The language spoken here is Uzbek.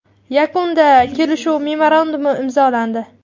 Yakunda kelishuv memorandumi imzolandi.